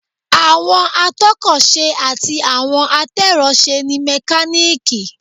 Àwọn atọ́kọ̀ ṣe àti àwọn atẹ́rọṣe ni mẹkáníìkì